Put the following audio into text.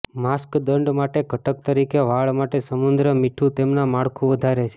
mask દંડ માટે ઘટક તરીકે વાળ માટે સમુદ્ર મીઠું તેમના માળખું વધારે છે